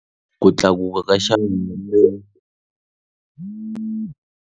Ku tlakuka ka xa .